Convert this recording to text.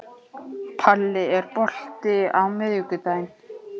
Palli, er bolti á miðvikudaginn?